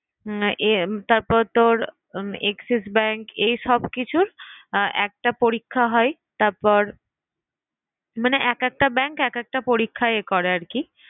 আহ তারপর তোর AXIS bank এই সবকিছুর একটা পরীক্ষা হয় তারপর মানে এক একটা bank এক একটা পরীক্ষা ইয়ে করে আরকি